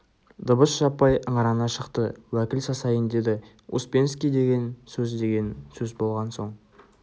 дыбыс жаппай ыңырана шықты уәкіл сасайын деді успенский деген сөз деген сөз болған соң